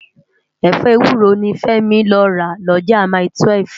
Efọ éwúró ni Femi lò rá Loja mái-túwèf